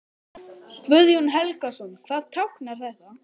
Guðjón Helgason: Hvað táknar þetta?